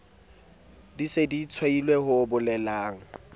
se di tshwailwe ho bolelang